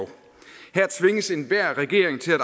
her tvinges til enhver regering til at